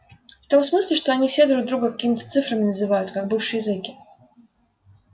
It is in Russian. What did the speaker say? в том смысле что они все друг друга какими-то цифрами называют как бывшие зеки